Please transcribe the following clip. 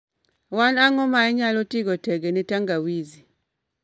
wn ango ma inyalo tigo tege ne tangawizi